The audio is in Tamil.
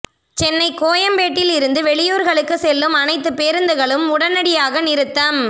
சென்னை கோயம்பேட்டில் இருந்து வெளியூர்களுக்கு செல்லும் அனைத்து பேருந்துகளும் உடனடியாக நிறுத்தம்